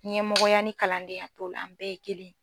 Ɲɛmɔgɔya ni kalandenya t'o la an bɛɛ ye kelen ye.